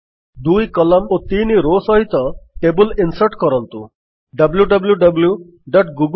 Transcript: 2 column ଓ 3 row ସହିତ table insert କରନ୍ତୁ